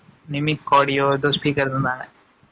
ஆ, limit cardio , இதோ speaker இருந்தாங்க